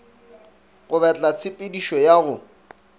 go betla tshepedišo ya go